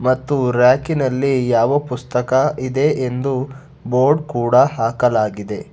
ಮತ್ತು ರ್ಯಾಕಿನಲ್ಲಿ ಯಾವ ಪುಸ್ತಕ ಇದೆ ಎಂದು ಬೋರ್ಡ್ ಕೂಡ ಹಾಕಲಾಗಿದೆ.